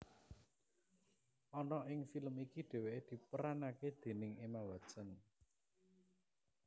Ana ing film iki dheweke diperanake déning Emma Watson